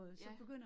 Ja